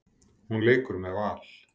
Hún leikur með Val.